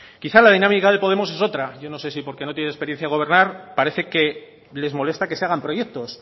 quizá la dinámica de podemos es otra yo no sé si porque no tiene experiencia en gobernar parece que les molesta que se hagan proyectos